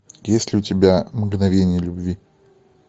есть ли у тебя мгновения любви